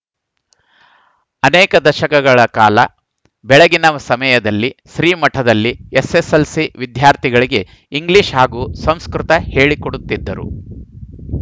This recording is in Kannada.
ಅನೇಕ ದಶಕಗಳ ಕಾಲ ಬೆಳಗಿನ ಸಮಯದಲ್ಲಿ ಶ್ರೀ ಮಠದಲ್ಲಿ ಎಸ್ಸೆಸ್ಸೆಲ್ಸಿ ವಿದ್ಯಾರ್ಥಿಗಳಿಗೆ ಇಂಗ್ಲಿಷ್‌ ಹಾಗೂ ಸಂಸ್ಕೃತ ಹೇಳಿಕೊಡುತ್ತಿದ್ದರು